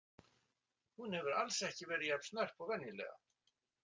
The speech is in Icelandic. Hún hefur alls ekki verið jafn snörp og venjulega.